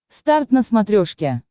старт на смотрешке